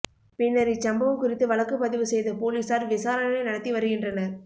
பின்னர் இச்சம்பவம் குறித்து வழக்கு பதிவு செய்த போலீசார் விசாரணை நடத்தி வருகின்றனர்